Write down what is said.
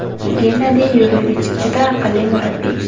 Gennadiy Yurevich juda aqlli murabbiy.